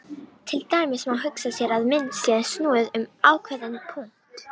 Til dæmis má hugsa sér að mynd sé snúið um ákveðinn punkt.